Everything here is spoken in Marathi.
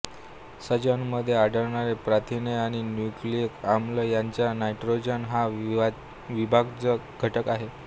सजीवांमध्ये आढळणारे प्रथिने आणि न्यूक्लिक आम्ल यांचा नायट्रोजन हा अविभाज्य घटक आहे